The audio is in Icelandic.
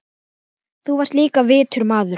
Þú varst líka vitur maður.